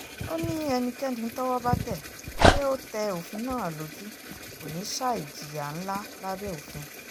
ó ní ẹnikẹ́ni tọ́wọ́ bá tẹ̀ pé ó tẹ òfin náà lójú kò ní í ṣàì jìyà ńlá lábẹ́ òfin